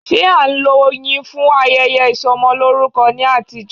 Ṣé a ń lo oyin fún ayẹyẹ Ìsọmọlórúkọ ní àtijọ́.